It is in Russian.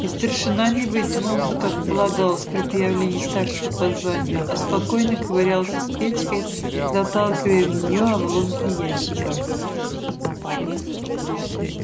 и старшина не вытянулся как полагалось при появлении старшего по званию а спокойно ковырялся с печкой заталкивая в нее обломки ящиков